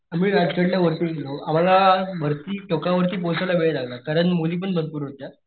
आम्ही राजगड ला वरती गेलो आम्हला वरती टिकवरती पोहोचायला वेळ लागला कारण मुली पण भरपूर होत्या,